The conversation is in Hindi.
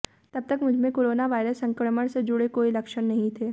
तब तक मुझमें कोरोनावायरस संक्रमण से जुड़े कोई लक्षण नहीं थे